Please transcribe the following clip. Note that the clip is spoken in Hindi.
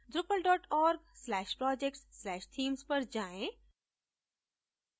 drupal org/projects/themes पर जाएँ